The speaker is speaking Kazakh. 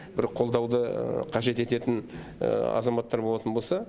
бір қолдауды қажет ететін азаматтар болатын болса